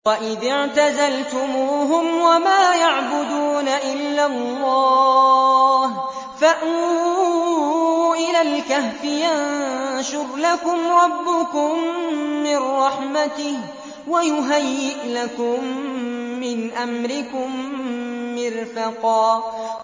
وَإِذِ اعْتَزَلْتُمُوهُمْ وَمَا يَعْبُدُونَ إِلَّا اللَّهَ فَأْوُوا إِلَى الْكَهْفِ يَنشُرْ لَكُمْ رَبُّكُم مِّن رَّحْمَتِهِ وَيُهَيِّئْ لَكُم مِّنْ أَمْرِكُم مِّرْفَقًا